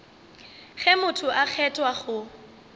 ge motho a kgethwa go